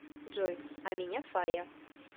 джой а меня фая